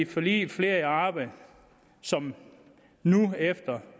forliget flere i arbejde som nu efter